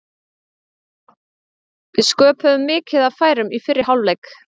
Við sköpuðum mikið af færum í fyrri hálfleik.